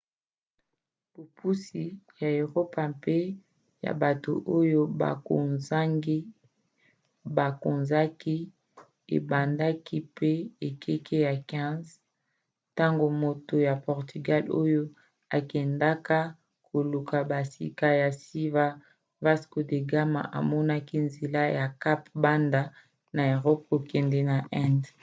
bopusi ya eropa mpe ya bato oyo bakonzaki ebandaki na ekeke ya 15 ntango moto ya portugal oyo akendaka koluka bisika ya sika vasco da gama amonaki nzela ya cap banda na erope kokende na inde